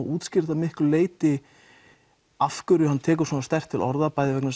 útskýrir það einhverju leyti af hverju hann tekur svona sterkt til orða